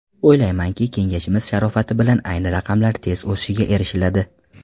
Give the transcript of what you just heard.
O‘ylaymanki, kengashimiz sharofati bilan ayni raqamlar tez o‘sishiga erishiladi.